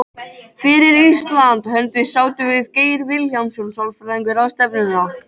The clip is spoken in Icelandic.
Fyrir Íslands hönd sátum við Geir Vilhjálmsson sálfræðingur ráðstefnuna.